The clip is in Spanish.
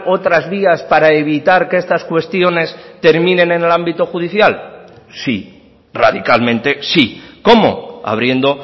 otras vías para evitar que estas cuestiones terminen en el ámbito judicial sí radicalmente sí cómo abriendo